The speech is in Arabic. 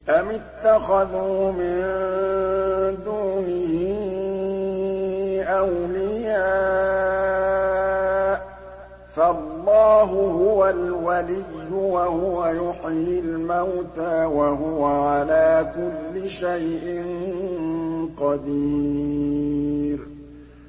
أَمِ اتَّخَذُوا مِن دُونِهِ أَوْلِيَاءَ ۖ فَاللَّهُ هُوَ الْوَلِيُّ وَهُوَ يُحْيِي الْمَوْتَىٰ وَهُوَ عَلَىٰ كُلِّ شَيْءٍ قَدِيرٌ